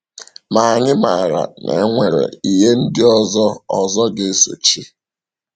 Ma anyị maara na e nwere ihe ndị ọzọ ọzọ ga-esochi.